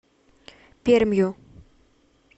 пермью